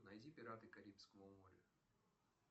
найди пираты карибского моря